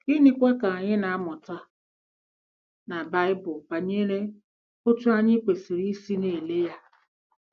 Gịnịkwa ka anyị na-amụta na Baịbụl banyere otú anyị kwesịrị isi na-ele ya?